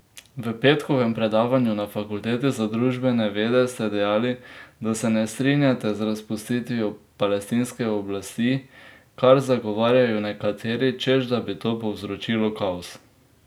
V petkovem predavanju na Fakulteti za družbene vede ste dejali, da se ne strinjate z razpustitvijo Palestinske oblasti, kar zagovarjajo nekateri, češ da bi to povzročilo kaos.